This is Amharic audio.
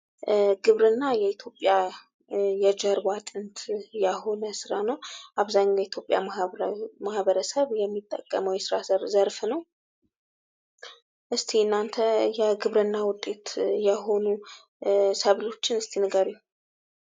ግብርና የኢትዮጵያ የጀርባ አጥንት የሆነ ስራ ነው ።አብዛኛው የኢትዮጵያ ማህበረሰብ የሚጠቀመው የስራ ዘርፍ ነው ።እስኪ እናንተ የግብርና ውጤት የሆኑ ሰብሎችን ንገሩኝ?